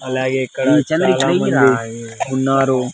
అలాగే ఇక్కడ చాలా మంది ఉన్నారు.